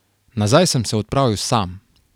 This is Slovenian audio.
Nazaj sem se odpravil sam.